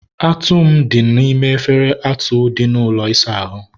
atụ m dị n'ime efere atụ dị n'ụlọ ịsa ahụ.